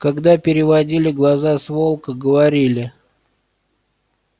когда переводили глаза с волка говорили